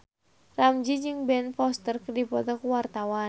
Ramzy jeung Ben Foster keur dipoto ku wartawan